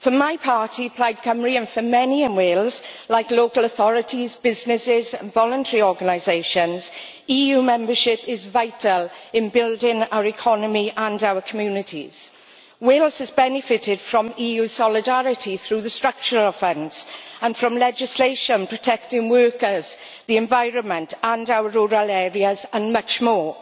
For my party, Plaid Cymru, and for many in Wales like local authorities, businesses and voluntary organisations EU membership is vital in building our economy and our communities. Wales has benefited from EU solidarity through the Structural Funds and from legislation protecting workers, the environment, our rural areas and much more.